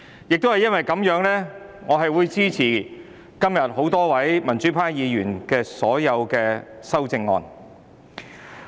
正因如此，我支持多位民主派議員提出的所有修正案。